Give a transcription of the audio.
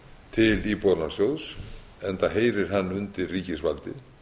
til íbúðalánasjóðs enda heyrir hann undir ríkisvaldið